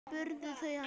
spurðu þau hann.